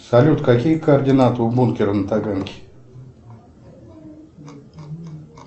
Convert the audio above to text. салют какие координаты у бункера на таганке